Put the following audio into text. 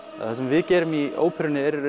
það sem við gerum í óperunni er í